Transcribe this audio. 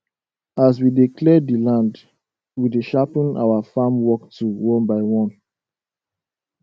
as we dey clear the land we dey sharpen our farm work tool one by one